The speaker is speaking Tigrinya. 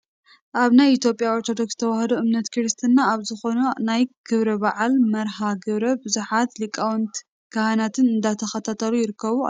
ኣብ ናይ ኢ/ያ ኦርቶዶክስ ተዋህዶ እምነት ክርስትና ኣብ ዝኾነ ናይ ክብረ በዓል መርሃ ግብሪ ብዙሓት ሊቃውንቲ ካህናት እንዳተኸታተሉ ይርከቡ ኣለው፡፡